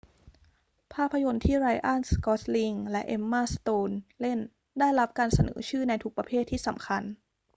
ภาพยนตร์ที่ไรอัน กอสลิงและเอ็มม่า สโตนเล่นได้รับการเสนอชื่อในทุกประเภทที่สำคัญ